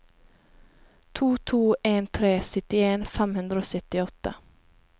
to to en tre syttien fem hundre og syttiåtte